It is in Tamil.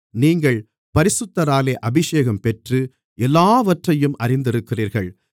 நீங்கள் பரிசுத்தராலே அபிஷேகம் பெற்று எல்லாவற்றையும் அறிந்திருக்கிறீர்கள்